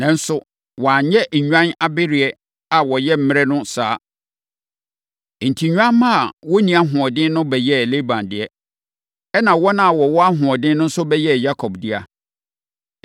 Nanso, wanyɛ nnwan abereɛ a wɔyɛ mmerɛ no saa. Enti, nnwammaa a wɔnni ahoɔden no bɛyɛɛ Laban dea, ɛnna wɔn a wɔwɔ ahoɔden no nso bɛyɛɛ Yakob dea.